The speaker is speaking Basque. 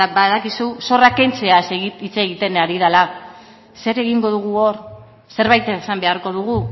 badakizu zorrak kentzeaz hitz egiten ari dela zer egingo dugu hor zerbait esan beharko dugu